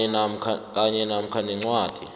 kanye namkha nencwadi